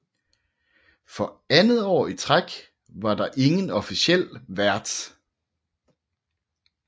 For andet år i træk var der ingen officiel vært